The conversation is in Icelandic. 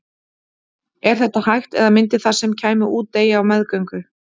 Er þetta hægt eða myndi það sem kæmi út deyja á meðgöngu?